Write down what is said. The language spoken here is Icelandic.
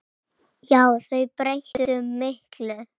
Já, þau breyttu miklu.